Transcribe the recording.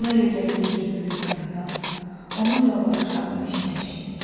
Ona elə gəlirdi ki, böyük yaradan onun yalvarışlarını eşidəcək.